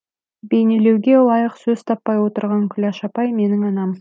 бейнелеуге ылайық сөз таппай отырған күләш апай менің анам